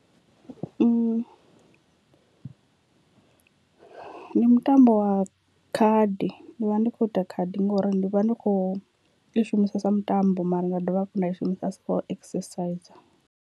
Ndi mutambo wa khadi ndi vha ndi kho ita khadi ngori ndi vha ndi kho i shumisa sa mutambo mara nda dovha hafhu nda i shumisa as for exerciser.